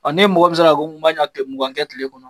Ɔn n'e mɔgɔ min sera ɲɛ mugan kɛ kile kɔnɔ